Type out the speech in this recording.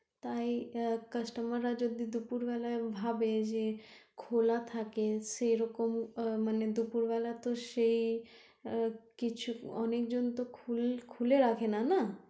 তাই customer রা যদি দুপুর বেলায় ভাবে যে খোলা থাকে সেরকম দুপুর বেলা তো সেই কিছু অনেকজন তো খুলে রাখেনা না?